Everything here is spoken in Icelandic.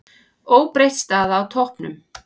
Óbreytt staða á toppnum